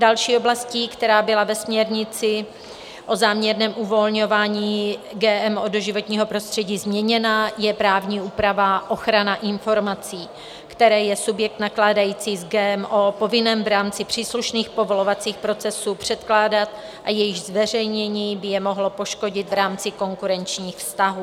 Další oblastí, která byla ve směrnici o záměrném uvolňování GMO do životního prostředí změněna, je právní úprava, ochrana informací, které je subjekt nakládající s GMO povinen v rámci příslušných povolovacích procesů předkládat a jejichž zveřejnění by je mohlo poškodit v rámci konkurenčních vztahů.